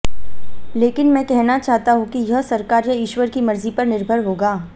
लेकिन मैं कहना चाहता हूं कि यह सरकार या ईश्वर की मर्जी पर निर्भर होगा